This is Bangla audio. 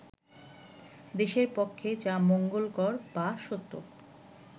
দেশের পক্ষে যা মঙ্গলকর বা সত্য